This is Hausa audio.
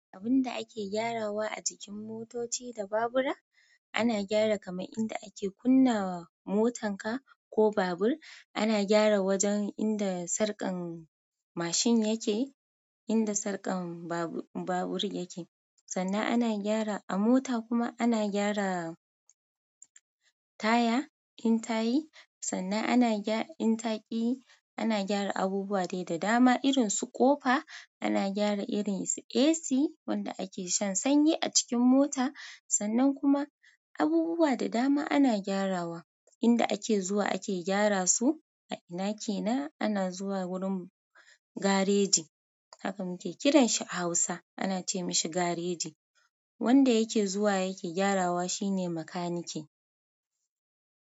Abinda ake gyarawa a jikin motoci da babura ana gyara kamar inda ake kunna wa motar ka ko babur, ana gyara wajan inda sarƙan mashin yake, inda sarƙan babur yake. Sannan ana gyara a mota kuma ana gyara taya in tayi, sannan ana gyara in taki, ana gyara abubuwa dai da dama irin su ƙofa, ana gyara irin su AC wanda ake shan sanyi a cikin mota. Sannan kuma abubuwa da dama ana gyarawa. Inda ake zuwa ake gyara su a ina kenan? Ana zuwa wurin gareji. Haka muke kiransa a Hausa ana ce mishi gareji. Wanda yake zuwa yake gyarawa shine makanike.